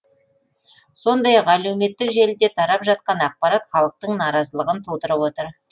сондай ақ әлеуметтік желіде тарап жатқан ақпарат халықтың наразылығын тудырып отыр